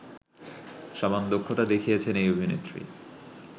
সমান দক্ষতা দেখিয়েছেন এই অভিনেত্রী